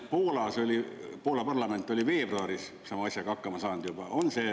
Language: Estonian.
Ma vaatasin, et Poola parlament oli veebruaris sama asjaga hakkama saanud juba.